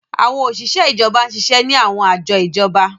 Àwọn oṣiṣẹ ijọba n ṣiṣẹ ni àwọn ajọ ijọba.